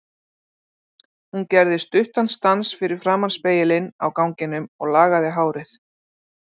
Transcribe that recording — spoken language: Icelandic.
Hún gerði stuttan stans fyrir framan spegilinn á ganginum og lagaði hárið.